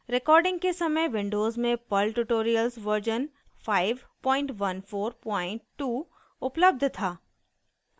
recording के समय Windows में पर्ल ट्यूटोरियल्स वर्जन 5142 उपलब्ध था